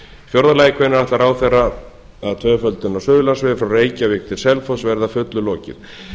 fjórða lagi hvenær ætlar ráðherra að tvöföldun á suðurlandsvegi milli reykjavíkur og selfoss verði að fullu lokið